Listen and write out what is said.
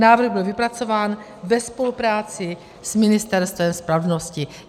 Návrh byl vypracován ve spolupráci s Ministerstvem spravedlnosti.